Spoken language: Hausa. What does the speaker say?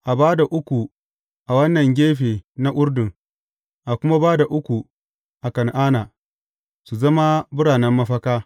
A ba da uku a wannan gefe na Urdun, a kuma ba da uku a Kan’ana, su zama biranen mafaka.